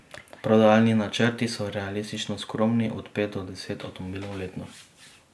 Prodajni načrti so realistično skromni, od pet do deset avtomobilov letno.